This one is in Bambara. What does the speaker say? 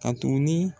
Ka tuguni